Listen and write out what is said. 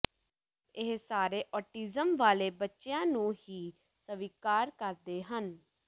ਇਹ ਸਾਰੇ ਔਟਿਜ਼ਮ ਵਾਲੇ ਬੱਚਿਆਂ ਨੂੰ ਹੀ ਸਵੀਕਾਰ ਕਰਦੇ ਹਨ